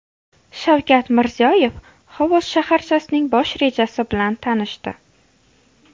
Shavkat Mirziyoyev Xovos shaharchasining bosh rejasi bilan tanishdi.